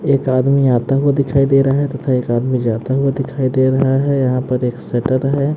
एक आदमी आता हुआ दिखाई दे रहा है तथा एक आदमी जाता हुआ दिखाई दे रहा है यहां पर एक सटर है।